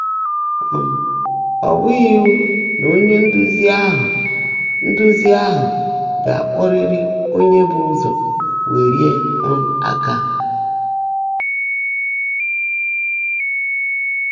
um Ọ́ bụ́ghị́ íwú ná ónyé ndụ́zí áhụ́ ndụ́zí áhụ́ gá-ákpọ́rị́rị́ ónyé bụ́ ụ́zọ́ wèlíé um áká.